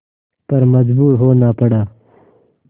पर मजबूर होना पड़ा